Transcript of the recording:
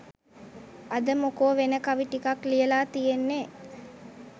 අද මොකෝ වෙන කවි ටිකක් ලියලා තියෙන්නේ